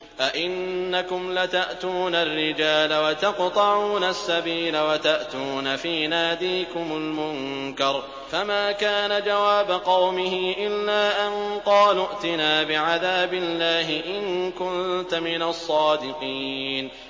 أَئِنَّكُمْ لَتَأْتُونَ الرِّجَالَ وَتَقْطَعُونَ السَّبِيلَ وَتَأْتُونَ فِي نَادِيكُمُ الْمُنكَرَ ۖ فَمَا كَانَ جَوَابَ قَوْمِهِ إِلَّا أَن قَالُوا ائْتِنَا بِعَذَابِ اللَّهِ إِن كُنتَ مِنَ الصَّادِقِينَ